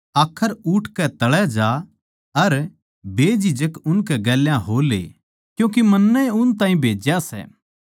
आखर उठकै तळै जा अर बेझिझक उनकै गेल्या हो ले क्यूँके मन्नै ए उन ताहीं भेज्या सै